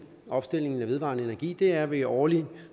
omstillingen af vedvarende energi er ved årlige